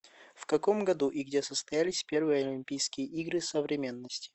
в каком году и где состоялись первые олимпийские игры современности